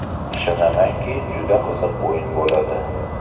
Ishonamanki, juda qiziq o‘yin bo‘ladi.